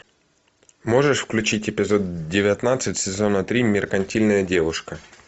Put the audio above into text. можешь включить эпизод девятнадцать сезона три меркантильная девушка